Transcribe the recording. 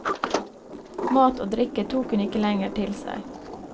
Mat og drikke tok hun ikke lenger til seg.